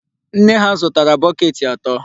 Nne ha zụtara bọket ato.